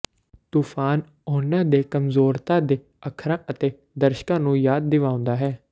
ਤੂਫ਼ਾਨ ਉਨ੍ਹਾਂ ਦੇ ਕਮਜ਼ੋਰਤਾ ਦੇ ਅੱਖਰਾਂ ਅਤੇ ਦਰਸ਼ਕਾਂ ਨੂੰ ਯਾਦ ਦਿਵਾਉਂਦਾ ਹੈ